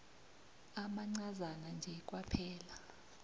amancazana nje kwaphela